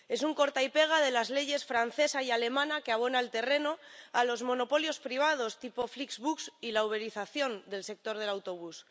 Es un corta y pega de las leyes francesa y alemana, que abona el terreno a los monopolios privados tipo Flixbus y la uberización del sector del autobús.